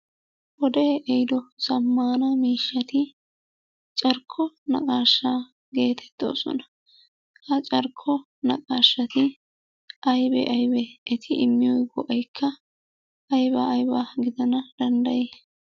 Wodee ehiido zammaana miishshati carkko naqaashsha geetettoosona. Ha carkko naqaashati aybee aybee? Eti immiyo go'aykka aybaa aybaa gidana danddayii?